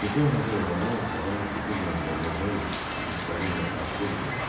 Süfrə hazır olanda Madam Kütürlə Madamozel Viktorina Tayferi göründü.